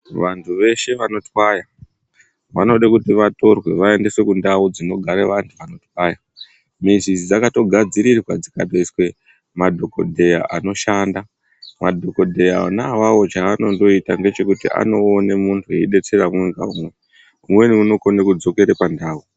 Vantu veshe vanotwaya, vanoda kuti vatorwe vaendeswe kuntau dzine vantu vanotwaya. Mizi idzi dzakatogadzirirwe dzikatoiswe madhokodhera anoshanda. Madhokodhera onayaya chaanongoite ngechekuti anoona muntu eidetserwa, umweni unokona kudzokere pantau.